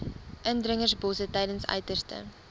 indringerbosse tydens uiterste